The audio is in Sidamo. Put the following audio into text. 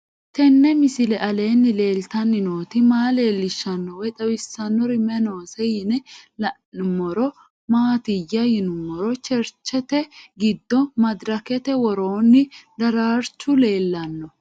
Tenni misile aleenni leelittanni nootti maa leelishshanno woy xawisannori may noosse yinne la'neemmori maattiya yinummoro cherichete giddo madirakkette woroonni daraarrichchu leelanno